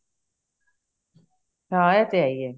ਹਾਂ ਇਹ ਤੇ ਹੈ ਈ ਏ